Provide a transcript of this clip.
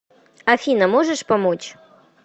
афина можешь помочь